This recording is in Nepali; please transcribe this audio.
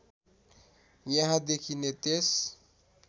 यहाँ देखिने त्यस